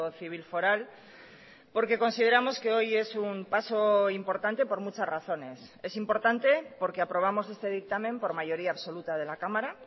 civil foral porque consideramos que hoy es un paso importante por muchas razones es importante porque aprobamos este dictamen por mayoría absoluta de la cámara